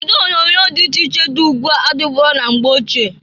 Ụdị onyoonyo dị iche iche dị ugbu a adịburo na mgbe ochie.